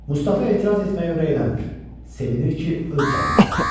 Mustafa etiraz etməyə ürəkləmir, sevinir ki, öz canını qurtarıb.